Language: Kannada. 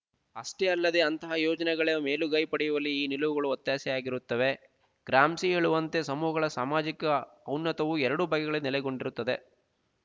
ಅಷ್ಟೇ ಅಲ್ಲದೇ ಅಂತಹ ಯೋಜನೆಗಳೇ ಮೇಲುಗೈ ಪಡೆಯುವಲ್ಲಿ ಈ ನಿಲುವುಗಳು ಒತ್ತಾಸೆಯಾಗಿರುತ್ತವೆ ಗ್ರಾಮ್ಸಿ ಹೇಳುವಂತೆ ಸಮೂಹಗಳ ಸಾಮಾಜಿಕ ಔನ್ನತವು ಎರಡು ಬಗೆಗಳು ನೆಲೆಗೊಂಡಿರುತ್ತದೆ